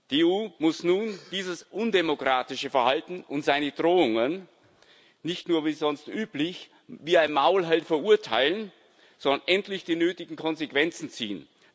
Die EU muss nun dieses undemokratische Verhalten und seine Drohungen nicht nur wie sonst üblich wie ein Maulheld verurteilen, sondern endlich die nötigen Konsequenzen ziehen.